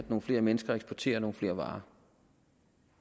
nogle flere mennesker og eksportere nogle flere varer